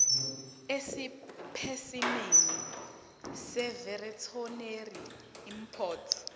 esipesimeni seveterinary import